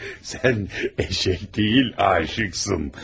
Sən eşşək deyil, aşıqsın.